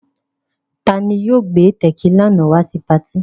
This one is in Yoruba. Ta ni yóò gbé tẹ̀kílà náà wá sí patí?